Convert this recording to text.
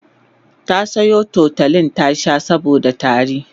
ta Sayo tutolin ta Sha saboda tari